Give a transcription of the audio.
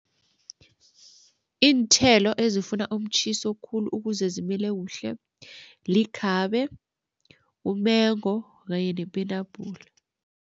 Iinthelo ezifuna umtjhiso khulu ukuze zimile kuhle likhabe, umengo kanye nepenapula.